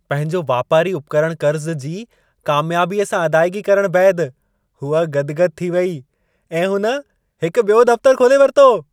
पंहिंजो वापारी उपकरणु कर्ज़ु जी कामयाबीअ सां अदाइगी करणु बैदि हूअ गदि-गदि थी वेई ऐं हुन हिकु बि॒यो दफ़्तरु खोले वरितो।